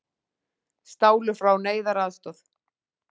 Stálu frá neyðaraðstoð